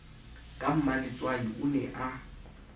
ka mmaletswai o ne a